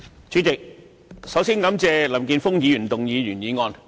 主席，首先，感謝林健鋒議員動議原議案。